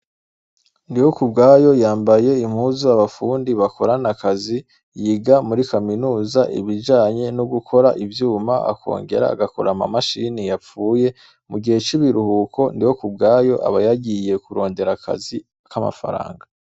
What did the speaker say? Ndihokubwayo yambaye impuzu abafundi bakorana akazi , yiga muri kaminuza ibijanye no gukora ivyuma akongera agakora amamashini yapfuye mugihe c'ibiruhuko, Ndihokubwayo aba yagiye kurondera akazi kamafranga.